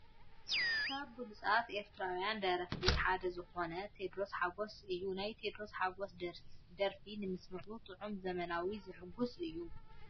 ካብ ብሉፃት ኤርትራዊያን ደረፍቲ ሓደ ዝኮነ ቴድሮስ ሓጎስ እዩ ። ናይ ቴድሮስ ሓጎስ ደርፊ ንምስምዑ ጥዑሙን ዘመናዊ ዝሕጉስ እዩ ።